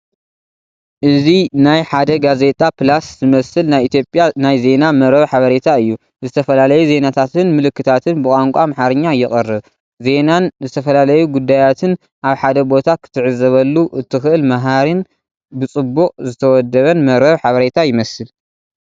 እዚ ናይ ሓደ ጋዜጣ ፕላስ ዝመስል ናይ ኢትዮጵያ ናይ ዜና መርበብ ሓበሬታ እዩ። ዝተፈላለዩ ዜናታትን ምልክታታትን ብቋንቋ ኣምሓርኛ የቕርብ። ዜናን ዝተፈላለዩ ጉዳያትን ኣብ ሓደ ቦታ ክትዕዘበሉ እትኽእል መሃሪን ብጽቡቕ ዝተወደበን መርበብ ሓበሬታ ይመስል።